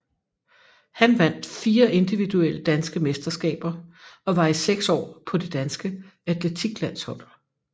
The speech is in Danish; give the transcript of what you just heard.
Han vandt fire individuelle danske mesterskaber og var i seks år på det danske atletiklandshold